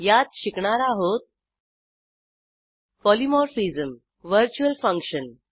यात शिकणार आहोत पॉलिमॉर्फिझम व्हर्च्युअल फंक्शन